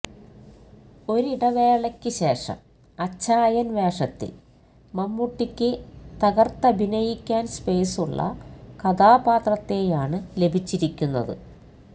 ഒരിടവേളയ്ക്ക് ശേഷം അച്ചായൻ വേഷത്തിൽ മമ്മൂട്ടിക്ക് തകർത്തഭിനയിക്കാൻ സ്പേസുള്ള കഥാപാത്രത്തെയാണ് ലഭിച്ചിരിക്കുന്നത്